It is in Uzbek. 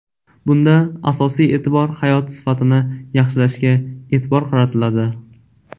Bunda asosiy e’tibor hayot sifatini yaxshilashga e’tibor qaratiladi.